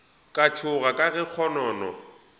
ka tšhoga ka ge kgonono